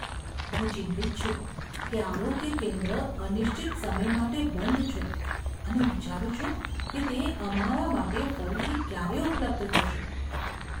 હું ચિંતિત છું કે આરોગ્ય કેન્દ્ર અનિશ્ચિત સમય માટે બંધ છે અને વિચારું છું કે તે અમારા માટે ફરીથી ક્યારે ઉપલબ્ધ થશે.